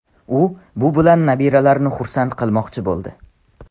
U bu bilan nabiralarini xursand qilmoqchi bo‘ldi.